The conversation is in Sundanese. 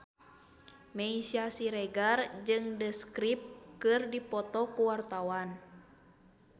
Meisya Siregar jeung The Script keur dipoto ku wartawan